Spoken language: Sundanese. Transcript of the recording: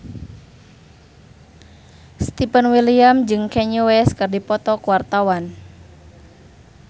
Stefan William jeung Kanye West keur dipoto ku wartawan